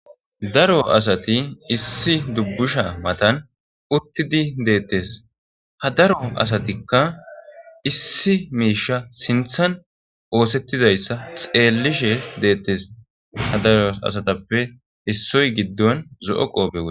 daro asati issi dubbusha matan uttidi deettes, ha daro asatikka issi miisha sinthan oosettizayssa xeellishe deettes, ha daro asatappe issoy giddon zo'o qoope